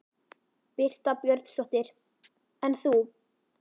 Birta Björnsdóttir: En þú?